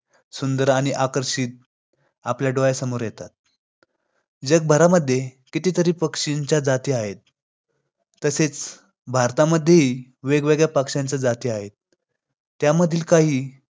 राजमाता जिजाऊ आणि छत्रपती शिवाजी महाराज कुशल अधिकाऱ्यांसह पुण्यात आले.